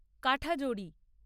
Kathajodi